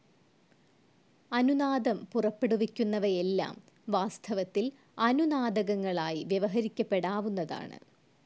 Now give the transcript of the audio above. അനുനാദം പുറപ്പെടുവിക്കുന്നവയെല്ലാം വാസ്തവത്തിൽ അനുനാദകങ്ങളായി വ്യവഹരിക്കപ്പെടാവുന്നതാണ്.